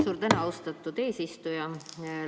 Suur tänu, austatud eesistuja!